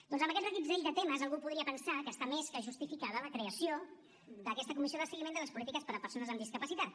doncs amb aquest reguitzell de temes algú podria pensar que està més que justificada la creació d’aquesta comissió de seguiment de les polítiques per a persones amb discapacitat